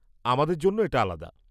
আমাদের জন্য এটা আলাদা!